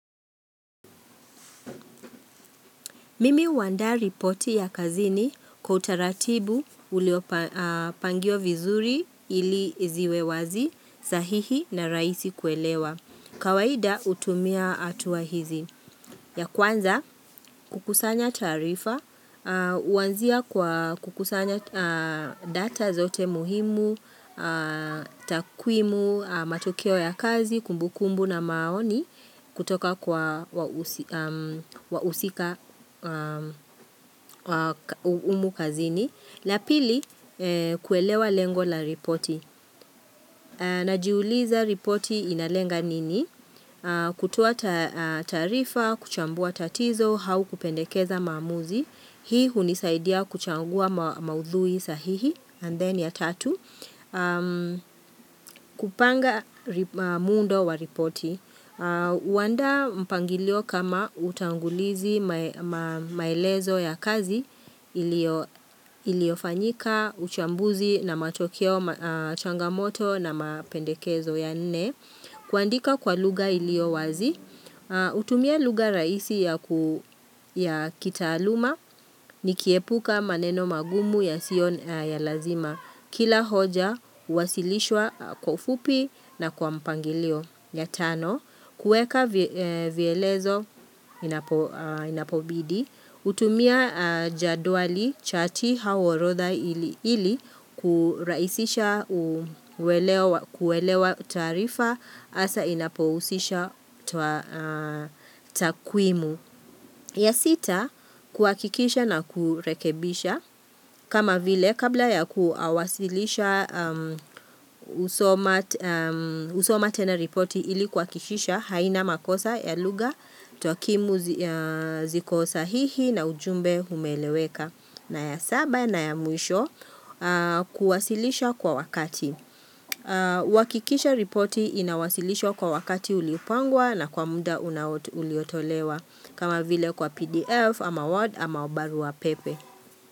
Mimi huandaa ripoti ya kazini kwa utaratibu ulio pangiwa vizuri ili ziwe wazi, sahihi na rahisi kuelewa. Kawaida hutumia atua hizi. Ya kwanza kukusanya taarifa huanzia kwa kukusanya data zote muhimu, takwimu matokeo ya kazi, kumbukumbu na maoni kutoka kwa wahusika humu kazini. La pili, kuelewa lengo la ripoti. Najiuliza ripoti inalenga nini? Kutoa taarifa, kuchambua tatizo au kupendekeza maamuzi. Hii hunisaidia kuchangua maudhui sahihi. And then ya tatu. Kupanga muundo wa ripoti. Huandaa mpangilio kama utangulizi maelezo ya kazi iliyo iliyofanyika uchambuzi na matokeo changamoto na mapendekezo ya nne kuandika kwa lugha iliyo wazi kutumia lugha rahisi ya ku ya kitaaluma nikiepuka maneno magumu yasio ya lazima kila hoja huwasilishwa kwa ufupi na kwa mpangilio ya tano kueka vielezo inapobidi hutumia jadwali chati au orodha ili kurahisisha uwelewa kuelewa taarifa hasa inapohusisha takwimu. Ya sita, kuhakikisha na kurekebisha. Kama vile, kabla ya kuawasilisha husoma tena ripoti ili kuhakikisha haina makosa, ya lugha, takimu ya ziko sahihi na ujumbe umeleweka. Na ya saba na ya mwisho kuwasilisha kwa wakati. Kuhakikisha ripoti inawasilishwa kwa wakati uliopangwa na kwa muda unao uliotolewa. Kama vile kwa PDF ama Word ama barua pepe.